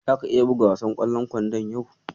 Zaka iya buga wasan ƙwallon kwandon yau?